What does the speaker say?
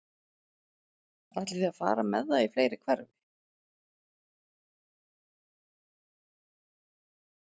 Ætlið þið að fara með það í fleiri hverfi?